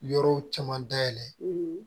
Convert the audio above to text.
Yɔrɔw caman dayɛlɛ